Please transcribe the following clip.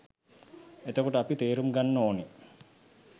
එතකොට අපි තේරුම් ගන්න ඕනෙ